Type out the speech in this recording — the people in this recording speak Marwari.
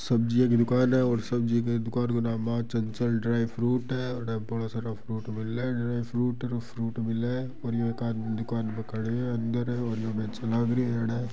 सब्जीया की दुकान है और सब्जी की दुकान को नाम चंचल ड्राय फ्रूूट है और एड बहुत सारा फ्रूट मिले फ्रूट मिले और ये एक आदमी दुकान पर खड़े है अंदर है। और यो बेचन लाग रो है अड़।